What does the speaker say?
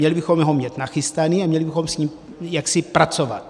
Měli bychom ho mít nachystaný a měli bychom s ním jaksi pracovat.